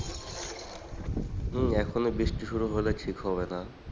হম এখনই বৃষ্টি শুরু হলে ঠিক হবে না।